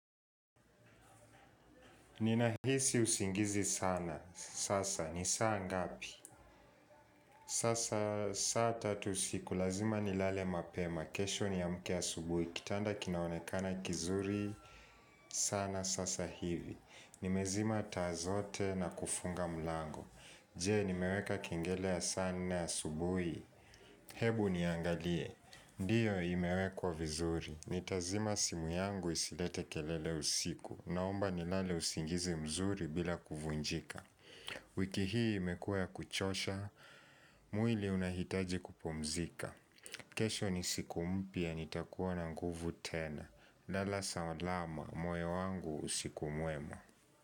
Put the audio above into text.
Ninahisi usingizi sana. Sasa, ni saa ngapi? Sasa, saa tatu usiku. Lazima nilale mapema. Kesho niamke asubuhi. Kitanda kinaonekana kizuri sana sasa hivi. Nimezima taa zote na kufunga mlango. Je, nimeweka kingele ya saa nne asubuhi. Hebu niangalie. Ndiyo imewekwa vizuri. Nitazima simu yangu isilete kelele usiku. Naomba nilale usingizi mzuri bila kuvunjika. Wiki hii imekua ya kuchosha. Mwili unahitaji kupumzika. Kesho ni siku mpya. Nitakuwa na nguvu tena. Lala sawalama. Moyo wangu usiku muema.